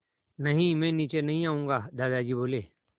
नहीं मैं नीचे नहीं आऊँगा दादाजी बोले